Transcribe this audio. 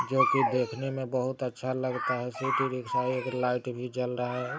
जो की देखने में बहुत अच्छा लगता है लाइट जल रहा है।